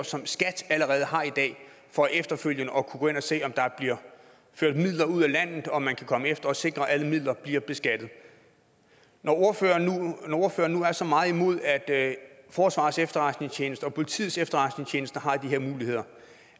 som skat allerede har i dag for efterfølgende at kunne gå ind og se om der bliver ført midler ud af landet og at man komme efter og sikre at alle midler bliver beskattet når ordføreren nu er så meget imod at forsvarets efterretningstjeneste og politiets efterretningstjeneste har de her muligheder